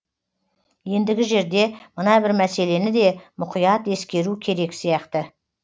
ендігі жерде мына бір мәселені де мұқият ескеру керек сияқты